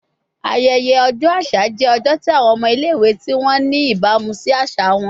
Ayẹyẹ ọjọ aṣa jẹ ọjọ ti awọn ọmọ ile-iwe ti wọ ni ibamu si aṣa wọn